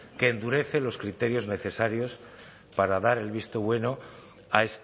que endurece los criterios necesarios para dar el visto bueno a